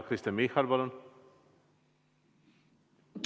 Kristen Michal, palun!